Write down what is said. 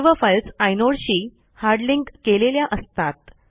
सर्व फाईल्स आयनोडशी hard link केलेल्या असतात